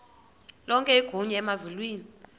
lonke igunya emazulwini